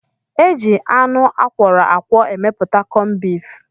E ji anụ akwọrọ akwọ emepụta kọmbif.